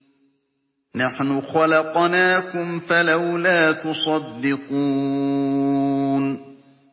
نَحْنُ خَلَقْنَاكُمْ فَلَوْلَا تُصَدِّقُونَ